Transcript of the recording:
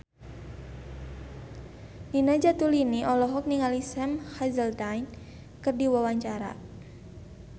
Nina Zatulini olohok ningali Sam Hazeldine keur diwawancara